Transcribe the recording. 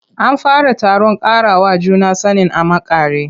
An fara taron ƙarawa juna sanin a makare.